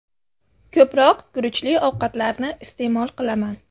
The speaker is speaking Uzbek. Ko‘proq guruchli ovqatlarni iste’mol qilaman.